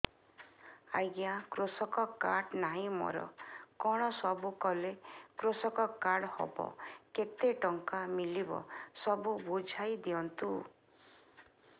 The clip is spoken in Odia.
ଆଜ୍ଞା କୃଷକ କାର୍ଡ ନାହିଁ ମୋର କଣ ସବୁ କଲେ କୃଷକ କାର୍ଡ ହବ କେତେ ଟଙ୍କା ମିଳିବ ସବୁ ବୁଝାଇଦିଅନ୍ତୁ